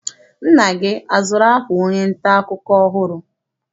Nna gị azụrụ akwa onye nta akụkọ ọhụrụ?